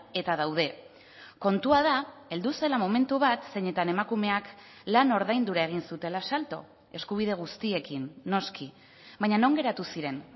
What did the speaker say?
eta daude kontua da heldu zela momentu bat zeinetan emakumeak lan ordaindura egin zutela salto eskubide guztiekin noski baina non geratu ziren